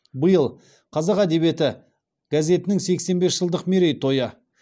биыл қазақ әдебиеті газетінің сексен бес жылдық мерей тойы